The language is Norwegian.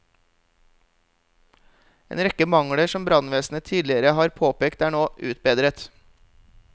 En rekke mangler som brannvesenet tidligere har påpekt er nå utbedret.